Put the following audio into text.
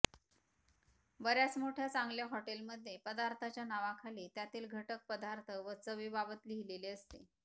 बऱ्याच मोठ्या चांगल्या हॉटेल मध्ये पदार्थाच्या नावाखाली त्यातील घटक पदार्थ व चवी बाबत लिहिलेले असते